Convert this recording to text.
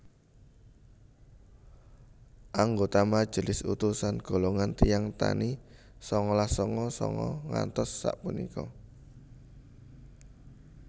Anggota majelis utusan golongan tiyang tani sangalas sanga sanga ngantos sapunika